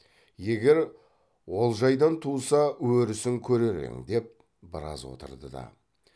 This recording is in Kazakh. егер олжайдан туса өрісін көрер ең деп біраз отырды да